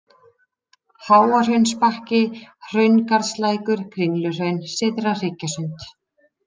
Háahraunsbakki, Hraungarðslækur, Kringluhraun, Syðra-Hryggjasund